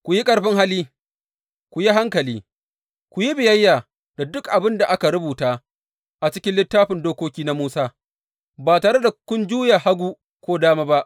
Ku yi ƙarfin hali, ku yi hankali, ku yi biyayya da dukan abin da aka rubuta a cikin Littafin Dokoki na Musa, ba tare da kun juya hagu ko dama ba.